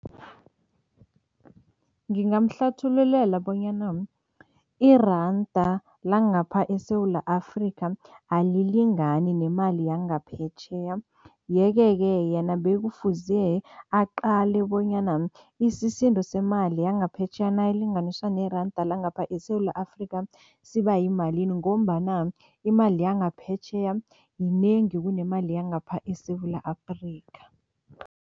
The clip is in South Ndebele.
Ngingamhlathululela bonyana iranda langapha eSewula Afrika alilingani nemali yangaphetjheya yeke-ke yena bekufuze aqale bonyana isisindo semali yangaphetjheya nayilinganiswa neranda langapha eSewula Afrika siba yimalini ngombana imali yangaphetjheya yinengi kunemali yangapha eSewula Afrika.